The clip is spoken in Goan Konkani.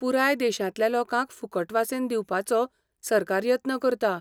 पुराय देशांतल्या लोकांक फुकट वासीन दिवपाचो सरकार यत्न करता.